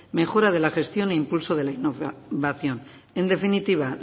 mejora de la gestión e impulso de la innovación en definitiva